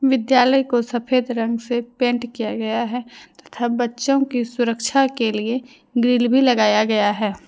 विद्यालय को सफेद रंग से पेंट किया गया है तथा बच्चों की सुरक्षा के लिए ग्रिल भी लगाया गया है।